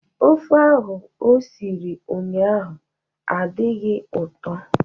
Ofe ahụ o siri ụnyahụ adịghị ụtọ.